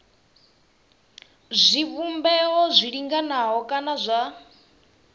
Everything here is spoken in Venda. zwivhumbeo zwi linganaho kana zwa